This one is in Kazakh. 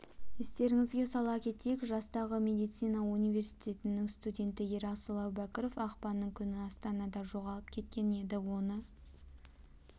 естеріңізге сала кетейік жастағы медицина университетінің студенті ерасыл әубәкіров ақпанның күні астанада жоғалып кеткен еді оны